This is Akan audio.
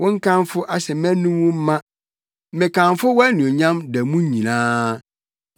Wo nkamfo ahyɛ mʼanom ma, mekamfo wʼanuonyam da mu nyinaa.